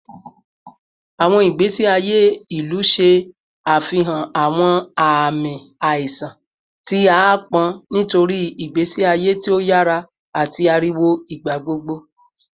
Awọn igbesi aye ilu ṣe afihan awọn aami aiṣan ti aapọn nitori igbesi aye ti o yara ati ariwo igbagbogbo